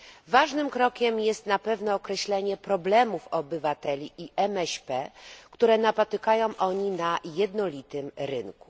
Ważnym krokiem jest na pewno określenie problemów obywateli i MŚP, które napotykają oni na jednolitym rynku.